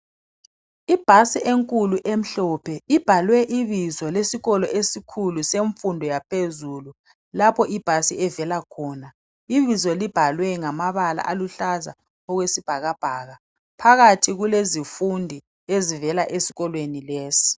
Ibhasi enkulu emhlophe ibhalwe ibizo lesikolo esikhulu semfundo yaphezulu lapho ibhasi evela khona. Ibizo libhalwe ngamabala aluhlaza okwesibhakabhaka phakathi kulezifundi ezivela esikolweni lesi.